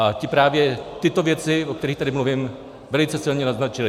A ti právě tyto věci, o kterých tady mluvím, velice silně naznačili.